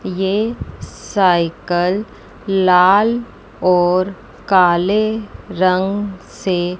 ये साइकिल लाल और काले रंग से--